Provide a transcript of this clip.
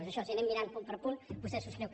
és això si anem mirant punt per punt vostè ho subscriu